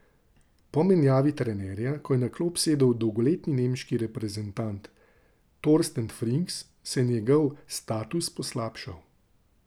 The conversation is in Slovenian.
Po menjavi trenerja, ko je na klop sedel dolgoletni nemški reprezentant Torsten Frings, se je njegov status poslabšal.